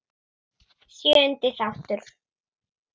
Sjöundi þáttur